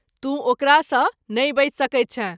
तू ओकरा सँ नहिं बचि सकैत छैँ।